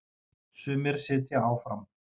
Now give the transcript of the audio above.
Sumir sitja áfram.